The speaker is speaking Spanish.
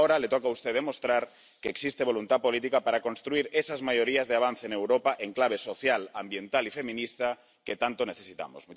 Pero ahora le toca a usted demostrar que existe voluntad política para construir esas mayorías de avance en Europa en clave social, ambiental y feminista que tanto necesitamos.